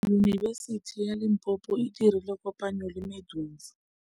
Yunibesiti ya Limpopo e dirile kopanyô le MEDUNSA.